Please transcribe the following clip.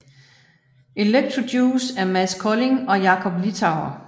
Electrojuice er Mads Kolding og Jakob Littauer